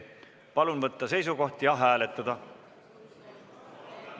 Palun võtta seisukoht ja hääletada!